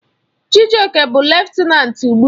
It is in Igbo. Chijioke bụ lutenanti ugbu a.